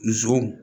Nson